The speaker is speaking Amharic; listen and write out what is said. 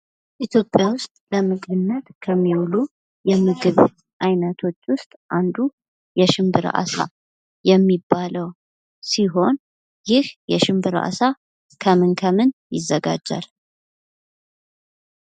ኢትዮጵያ ውስጥ ለምግብነት ከሚውሉ የምግብ ዓይነቶች ውስጥ አንዱ የሽንብራ አሳ የሚባለው ሲሆን ይህ የሽንብራው ዓሳ ከምን ከምን ከምን ይዘጋጃል?